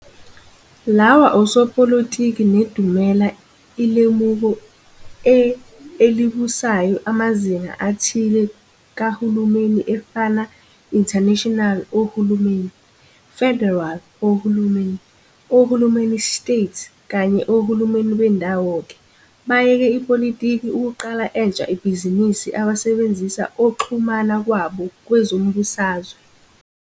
Lawa osopolitiki nedumela ilemuko e elibusayo amazinga athile kahulumeni efana International Ohulumeni, Federal Ohulumeni, Ohulumeni State kanye oHulumeni beNdawo ke bayeke ipolitiki ukuqala entsha ebhizinisini abasebenzisa oxhumana kwabo kwezombusazwe.